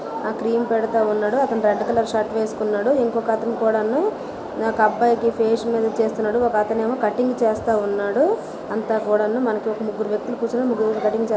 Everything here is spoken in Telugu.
ఆ క్రీమ్ పెదత్త ఉన్నాడు. అతను రెడ్ కలర్ షర్ట్ వేసుకున్నాడు. ఇంకొక అతను కూడా ను నాకు అబ్బాయికి ఫేస్ మేధ చేస్తున్నాడు. ముగ్గురు వ్యక్తులు కూడా-- ]